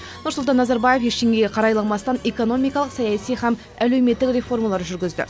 нұрсұлтан назарбаев ештеңеге қарайламастан экономикалық саяси һәм әлеуметтік реформалар жүргізді